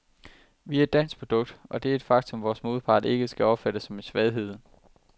Vi er et dansk produkt, og det er et faktum, vores modpart ikke skal opfatte som en svaghed.